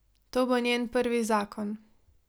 To bo njen prvi zakon.